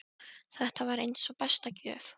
Þetta var eins og besta gjöf.